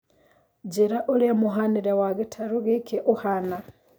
njĩira ũrĩa mũhanĩre wa gĩtarũ gĩkĩ ũhana